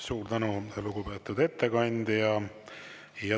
Suur tänu, lugupeetud ettekandja!